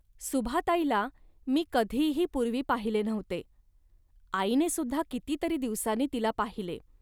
सुभाताईला मी कधीही पूर्वी पाहिले नव्हते. आईने सुद्धा किती तरी दिवसांनी तिला पाहिले